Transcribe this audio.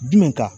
Jumɛn kan